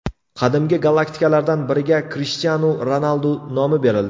Qadimgi galaktikalardan biriga Krishtianu Ronaldu nomi berildi.